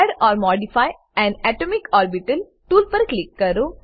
add or modify an atomic orbital tool પર click કરો